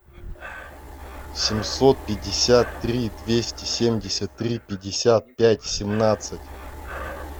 семьсот пятьдесят три двести семьдесят три пятьдесят пять семнадцать